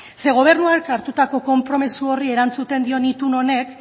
zeren gobernuak hartutako konpromiso horri erantzuten dion